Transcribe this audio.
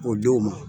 O denw ma